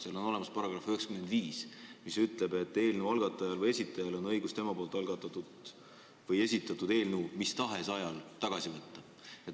Seal on olemas paragrahv 95, mis ütleb, et eelnõu algatajal või esitajal on õigus tema poolt algatatud või esitatud eelnõu mis tahes ajal tagasi võtta.